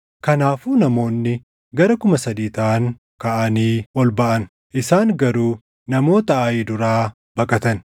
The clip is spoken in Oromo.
Kanaafuu namoonni gara kuma sadii taʼan kaʼanii ol baʼan; isaan garuu namoota Aayi duraa baqatan;